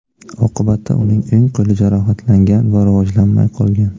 Oqibatda uning o‘ng qo‘li jarohatlangan va rivojlanmay qolgan.